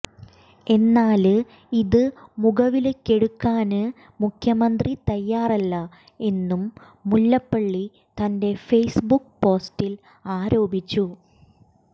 എന്നാല് ഇത് മുഖവിലയ്ക്കെടുക്കാന് മുഖ്യമന്ത്രി തയ്യാറല്ല എന്നും മുല്ലപ്പള്ളി തന്റെ ഫേസ്ബുക്ക് പോസ്റ്റിൽ ആരോപിച്ചു